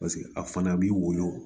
Paseke a fana b'i woyo